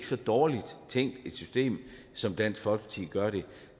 så dårligt tænkt system som dansk folkeparti gør det